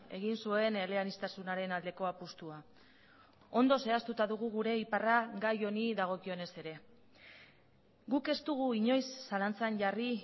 egin zuen eleaniztasunaren aldeko apustua ondo zehaztuta dugu gure iparra gai honi dagokionez ere guk ez dugu inoiz zalantzan jarri